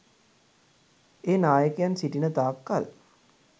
ඒ නායකයන් සිටින තාක් කල්